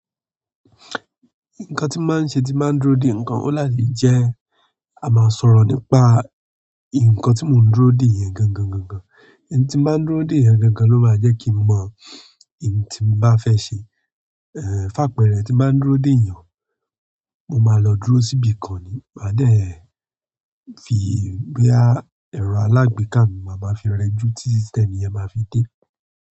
Nǹkan tí màá ṣe tí màá dúró dè nǹkan ó láti jẹ́ a máa sọ̀rọ̀ nípa nǹkan tí mò ń dúró dè yẹn gangan, gangan. Ntí màá dúró dè yẹn gangan ló máa jẹ́ kí mọ̀ ntí n bá fẹ́ ṣe. Ehn, fàpẹẹrẹ rẹ̀ tí nbá dúró dè yàn, mo máa lọ dúró síbi kan, máa dẹ̀ bíi bóyá ẹ̀rọ alágbèéká mi, màá máa fi rẹ́jú tí ẹnìyẹn máa fi dé.